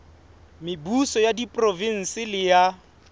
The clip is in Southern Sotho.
mebuso ya diprovense le ya